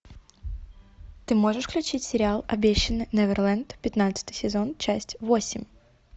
ты можешь включить сериал обещанный неверленд пятнадцатый сезон часть восемь